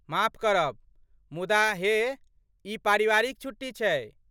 माफ करब। मुदा हे, ई पारिवारिक छुट्टी छै।